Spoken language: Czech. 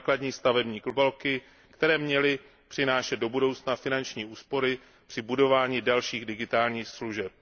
základní stavební bloky, které by měly přinášet do budoucna finanční úspory při budování dalších digitálních služeb.